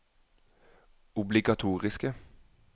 obligatoriske